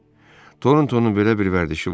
Torontonun belə bir vərdişi vardı.